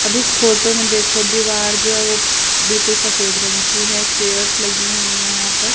अब इस फोटो में देखो दीवार जो है वो बिल्कुल सफेद रंग की है चेयर्स लगी हुई है यहां पर।